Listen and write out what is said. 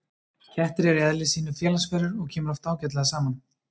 kettir eru í eðli sínu félagsverur og kemur oft ágætlega saman